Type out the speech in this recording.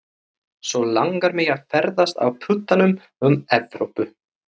Svo langar mig að ferðast á puttanum um Evrópu.